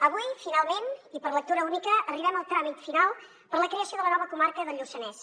avui finalment i per lectura única arribem al tràmit final per a la creació de la nova comarca del lluçanès